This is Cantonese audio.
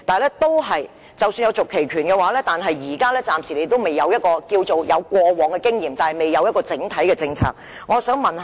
然而，即使擁有續期權，暫時亦只有過往經驗而未有整體政策。